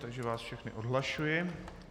Takže vás všechny odhlašuji.